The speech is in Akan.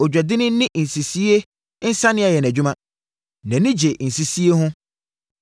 Ɔdwadini de nsisie nsania yɛ nʼadwuma; nʼani gye nsisie ho.